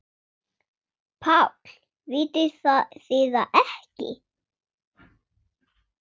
PÁLL: Vitið þið það ekki?